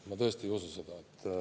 Ma tõesti ei usu seda.